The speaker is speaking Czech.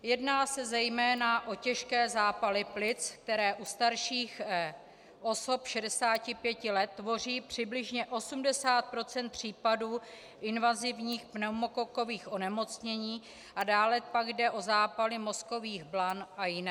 Jedná se zejména o těžké zápaly plic, které u starších osob 65 let tvoří přibližně 80 % případů invazivních pneumokokových onemocnění, a dále pak jde o zápaly mozkových blan a jiné.